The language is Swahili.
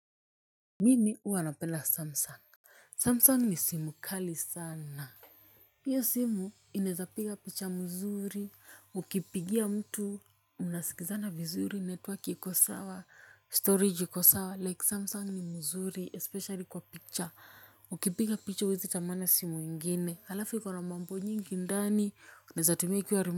Mini uwa napela samsung. Samsung ni simu kali sana hiyo simu inaeza piga picha mzuri ukipigia mtu mnasikizana vizuri network iko sawa storage iko sawa like samsung ni mzuri especially kwa picha ukipiga picha huwezi tamani simu ingine halafu iko na mambo nyingi ndani unaeza tumia ikiwa rumu.